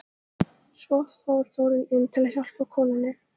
Svo fór Þórunn inn til að hjálpa konunni.